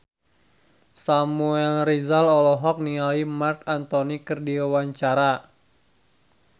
Samuel Rizal olohok ningali Marc Anthony keur diwawancara